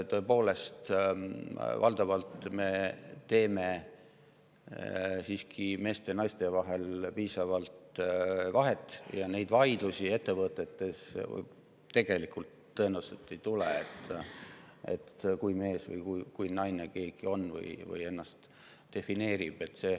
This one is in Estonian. Tõepoolest, valdavalt me teeme siiski meeste ja naiste vahel piisavat vahet ja selliseid vaidlusi ettevõtetes tõenäoliselt ei tule, kuivõrd mees või naine keegi on või kuidas ta ennast defineerib.